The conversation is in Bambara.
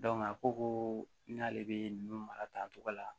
a ko ko n'ale bɛ nunnu mara ta togo la